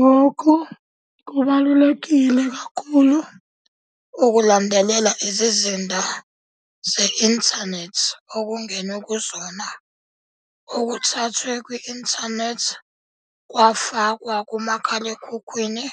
"Lokhu kubalulekile kakhulu ukulandelela izizinda ze-inthanethi okungenwe kuzona, okuthathwe ku-inthanethi kwafakwa kumakhalekhukhwini,